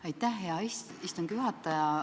Aitäh, hea istungi juhataja!